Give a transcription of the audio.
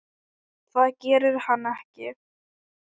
Það gerir hann ekki!